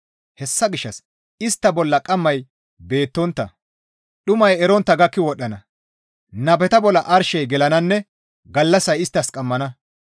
Hessa gishshas istta bolla qammay beettontta, dhumay erontta gakki wodhdhana; nabeta bolla arshey gelananne gallassay isttas qammana.